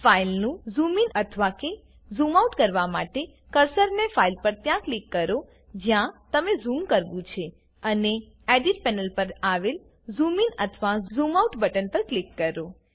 ફાઈલનું zoom in અથવા કે ઝૂમઆઉટ કરવા માટે કર્સરને ફાઈલ પર ત્યાં ક્લિક કરો જ્યાં તમને ઝૂમ કરવું છે અને એડિટ પેનલ પર આવેલ ઝૂમ ઇન અથવા ઝૂમ આઉટ બટન ક્લિક કરો